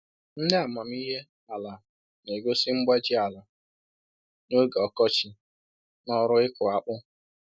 Ndị amamihe ala na-egosi mgbaji ala n'oge ọkọchị n'ọrụ ịkụ akpu